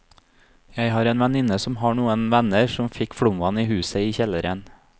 Jeg har en venninne som har noen venner som fikk flomvann i huset i kjelleren.